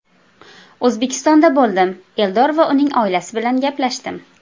O‘zbekistonda bo‘ldim, Eldor va uning oilasi bilan gaplashdim.